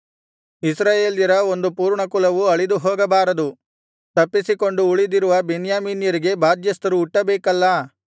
ಇಸ್ರಾಯೇಲ್ಯರ ಒಂದು ಪೂರ್ಣ ಕುಲವು ಅಳಿದುಹೋಗಬಾರದು ತಪ್ಪಿಸಿಕೊಂಡು ಉಳಿದಿರುವ ಬೆನ್ಯಾಮೀನರಿಗೆ ಬಾಧ್ಯಸ್ಥರು ಹುಟ್ಟುಬೇಕಲ್ಲಾ